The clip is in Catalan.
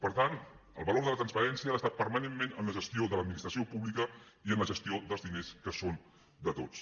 per tant el valor de la transparència ha d’estar permanentment en la gestió de l’administració pública i en la gestió dels diners que són de tots